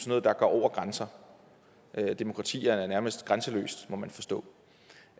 noget der går over grænser demokrati er nærmest grænseløst må man forstå